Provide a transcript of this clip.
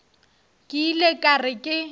ke ile ka re ke